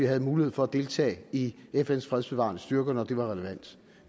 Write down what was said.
havde mulighed for at deltage i fns fredsbevarende styrker når det var relevant